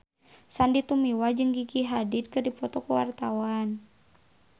Sandy Tumiwa jeung Gigi Hadid keur dipoto ku wartawan